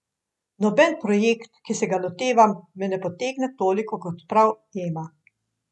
Noben projekt, ki se ga lotevam, me ne potegne toliko kot prav Ema.